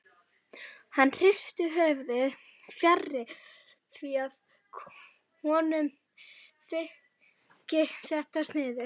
Hann hristir höfuðið, fjarri því að honum þyki þetta sniðugt.